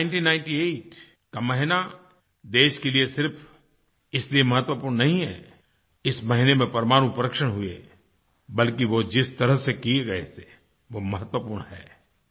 मई 1998 का महीना देश के लिए सिर्फ़ इसलिए महत्वपूर्ण नहीं है कि इस महीने में परमाणु परीक्षण हुए बल्कि वो जिस तरह से किए गए थे वह महत्वपूर्ण है